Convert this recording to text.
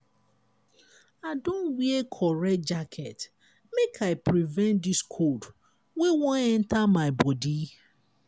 i don wear correct jacket make i prevent dis cold wey wan enta my bodi.